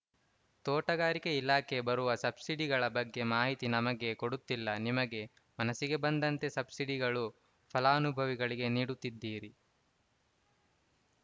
ತೋಟಗಾರಿಕೆ ಇಲಾಖೆ ಬರುವ ಸಬ್ಸಿಡಿಗಳ ಬಗ್ಗೆ ಮಾಹಿತಿ ನಮಗೆ ಕೊಡುತ್ತಿಲ್ಲ ನಿಮಗೆ ಮನಸ್ಸಿಗೆ ಬಂದಂತೆ ಸಬ್ಸಿಡಿಗಳು ಫಲಾನುಭವಿಗಳಿಗೆ ನೀಡುತ್ತಿದ್ದೀರಿ